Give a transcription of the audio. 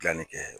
Gilanni kɛ